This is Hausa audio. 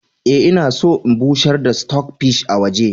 Eh, ina son in bushar da "stock fish " a waje.